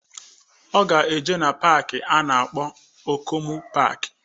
Ọ ga-eje na paaki a na-akpọ Okomu paaki